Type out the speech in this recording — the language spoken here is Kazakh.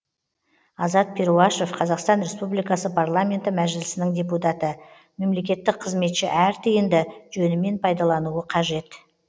азат перуашев қазақстан республикасы парламенті мәжілісінің депутаты мемлекеттік қызметші әр тиынды жөнімен пайдалануы қажет